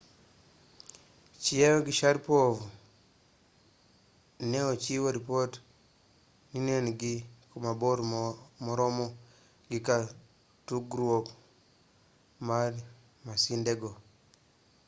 chiao gi sharipov ne ochiwo ripot ni ne gin ku mabor moromo gi kar tugruok mar masindego